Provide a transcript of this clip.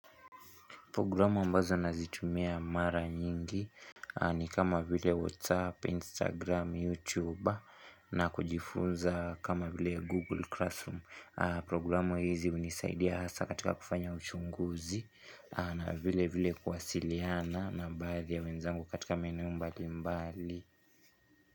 Programu ambazo nazitumia mara nyingi ni kama vile WhatsApp, Instagram, YouTube na kujifunza kama vile Google Classroom. Programu hizi hunisaidia hasa katika kufanya uchunguzi na vile vile kuwasiliana na baadhi ya wenzangu katika maeneo mbali mbali.